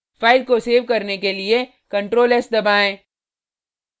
file को save करने के लिए ctrl+s दबाएँ